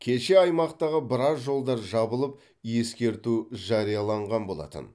кеше аймақтағы біраз жолдар жабылып ескерту жарияланған болатын